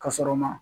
Ka sɔrɔ ma